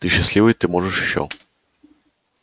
ты счастливый ты можешь ещё